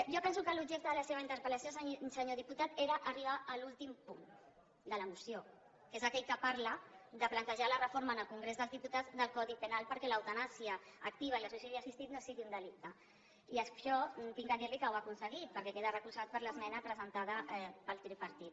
jo penso que l’objecte de la seva interpel·lació senyor diputat era arribar a l’últim punt de la moció que és aquell que parla de plantejar la reforma en el congrés dels diputats del codi penal perquè l’eutanàsia activa i el suïcidi assistit no siguin un delicte i això he de dir li que ho ha aconseguit perquè queda recolzat per l’esmena presentada pel tripartit